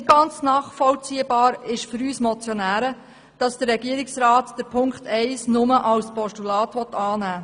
Nicht ganz nachvollziehbar ist für uns Motionäre, dass der Regierungsrat Ziffer 1 nur als Postulat annehmen will.